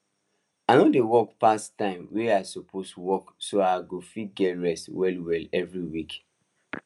i no dey work pass time wey i suppose work so i go fit rest well well every week